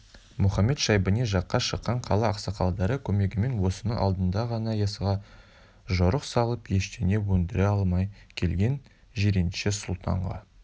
мұхамед-шайбани жаққа шыққан қала ақсақалдары көмегімен осының алдында ғана яссыға жорық салып ештеңе өндіре алмай келген жиренше сұлтанға